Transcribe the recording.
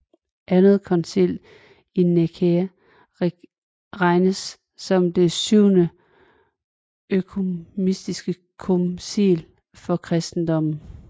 Andet koncil i Nikæa regnes som det syvende økumeniske koncil for kristendommen